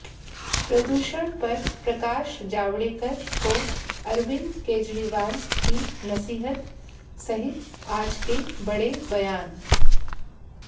प्रदूषण पर प्रकाश जावड़ेकर को अरविंद केजरीवाल की नसीहत सहित आज के बड़े बयान